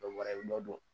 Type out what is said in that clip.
Dɔ bɔra i dɔ don